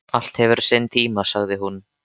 Allt hefur sinn tíma, sagði hún.